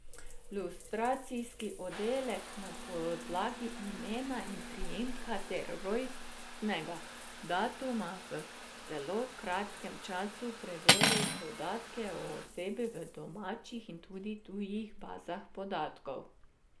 Lustracijski oddelek na podlagi imena in priimka ter rojstnega datuma v zelo kratkem času preveri podatke o osebi v domačih in tudi tujih bazah podatkov.